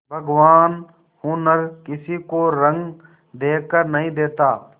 भगवान हुनर किसी को रंग देखकर नहीं देता